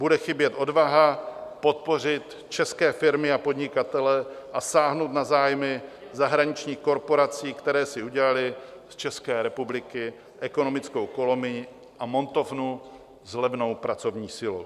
Bude chybět odvaha podpořit české firmy a podnikatele a sáhnout na zájmy zahraničních korporací, které si udělaly z České republiky ekonomickou kolonii a montovnu s levnou pracovní silou.